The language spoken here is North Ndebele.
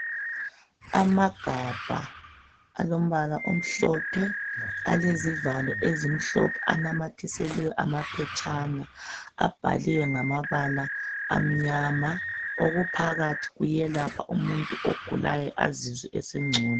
Amagabha alombala omhlophe alezivalo ezimhlophe anamathiselwe amphetshana abhaliwe ngamabala amnyama okuphakathi kuyelapha umuntu ogulayo azizwe esengcobo.